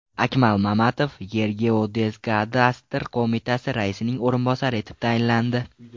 Akmal Mamatov Yergeodezkadastr qo‘mitasi raisining o‘rinbosari etib tayinlandi.